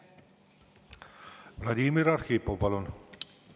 Vladimir Arhipov, palun!